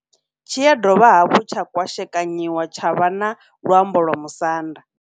Tshi ya dovha hafhu tsha kwashekanyiwa tsha vha na luambo lwa Musanda.